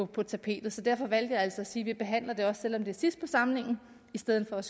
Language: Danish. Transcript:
på tapetet så derfor valgte jeg altså at sige at vi behandler det også selv om det er sidst på samlingen i stedet for at